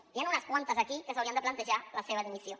n’hi han unes quantes aquí que s’haurien de plantejar la seva dimissió